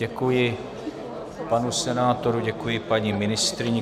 Děkuji panu senátorovi, děkuji paní ministryni.